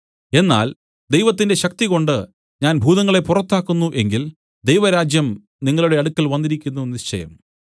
എന്നാൽ ദൈവത്തിന്റെ ശക്തികൊണ്ട് ഞാൻ ഭൂതങ്ങളെ പുറത്താക്കുന്നു എങ്കിൽ ദൈവരാജ്യം നിങ്ങളുടെ അടുക്കൽ വന്നിരിക്കുന്നു നിശ്ചയം